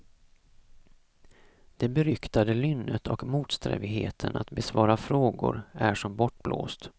Det beryktade lynnet och motsträvigheten att besvara frågor är som bortblåst.